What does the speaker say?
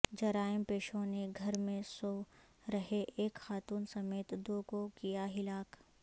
جرائم پیشوں نے گھر میں سو رہے ایک خاتون سمیت دو کو کیا ہلاک